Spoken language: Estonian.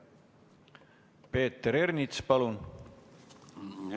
Peeter Ernits, palun!